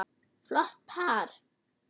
Flott par.